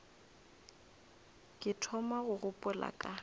ke thoma go gopola ka